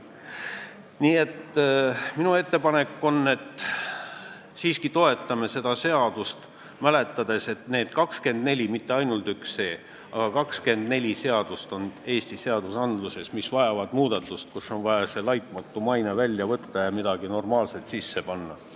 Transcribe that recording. Nii et minu ettepanek on, et toetame siiski seda eelnõu, pidades meeles, et Eestis on 24 seadust, mitte ainult see seadus, vaid 24 seadust, mis vajavad muudatust, sealt on vaja see "laitmatu maine" välja võtta ja midagi normaalset asemele panna.